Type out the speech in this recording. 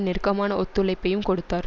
நெருக்கமான ஒத்துழைப்பையும் கொடுத்தார்